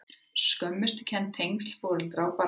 Skömmustukennd- tengsl foreldra og barna